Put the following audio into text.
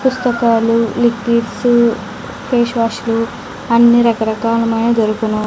పుస్తకాలు liquids face wash లు అన్ని రకరకాలవైనవి దొరుకును.